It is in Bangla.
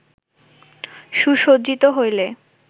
সুসজ্জিত হইলে